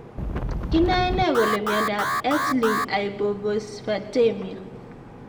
Kinaenee kole miondop X linked hypophosphatemia.